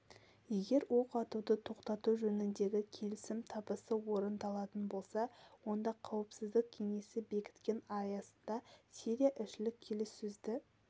егер оқ атуды тоқтату жөніндегі келісім табысты орындалатын болса онда қауіпсіздік кеңесі бекіткен аясында сирия ішілік келіссөзді